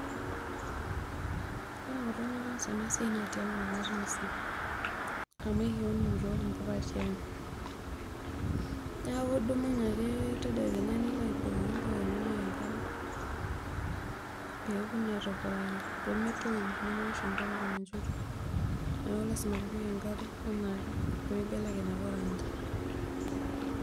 Ore enkolong' nataasa ena siai naa tiaang' ake ataasa amuu ekiun iyiook impuka tiaang' neeku idumunye ake tedekenya nilo abukoki impuka inonok enkare pee ewoku naa aitobiraki nemetoyu nemewosh enkolong' enchoto nipik enkare enaake pee meibelekeny ake orangi.